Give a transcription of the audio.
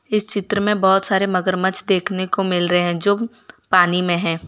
इस चित्र में बहोत सारे मगरमच्छ देखने को मिल रहे हैं जो पानी में है।